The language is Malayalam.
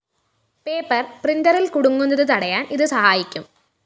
പേപ്പർ പ്രിന്ററില്‍ കുടുങ്ങുന്നത് തടയാന്‍ ഇത് സഹായിക്കും